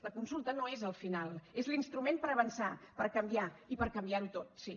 la consulta no és el final és l’instrument per avançar per canviar i per canviarho tot sí